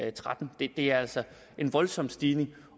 og tretten det er altså en voldsom stigning